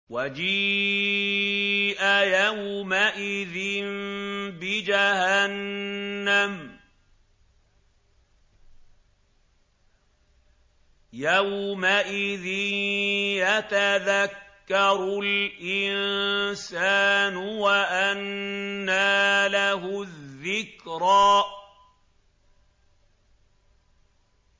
وَجِيءَ يَوْمَئِذٍ بِجَهَنَّمَ ۚ يَوْمَئِذٍ يَتَذَكَّرُ الْإِنسَانُ وَأَنَّىٰ لَهُ الذِّكْرَىٰ